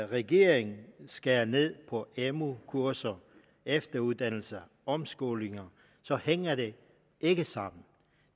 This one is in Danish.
regeringen skærer ned på amu kurser efteruddannelse og omskoling så hænger det ikke sammen